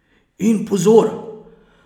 In pozor!